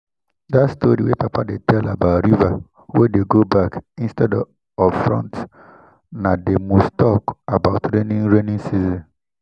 dat story wey papa dey tell about river wey dey go back instead of front na dey most talk about during raining season